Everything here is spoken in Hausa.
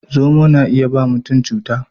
Zomo na iya ba ma mutum cuta.